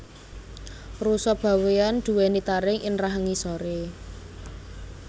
Rusa bawean duweni taring ing rahang ngisore